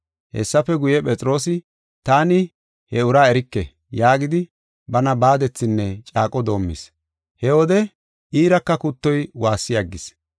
Hessafe guye, Phexroosi, “Taani he uraa erike!” yaagidi, bana baadethinne caaqo doomis. He wode iiraka kuttoy waassi aggis.